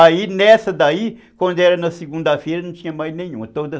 Aí nessa daí, quando era na segunda-feira, não tinha mais nenhuma. Todas